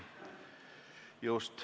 Just.